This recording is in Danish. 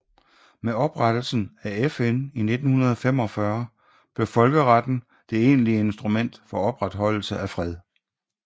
Med oprettelsen af FN i 1945 blev folkeretten det egentlige instrument for opretholdelse af fred